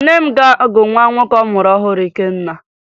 Nne m ga-agụ nwa nwoke ọ mụrụ ọhụrụ Ikenna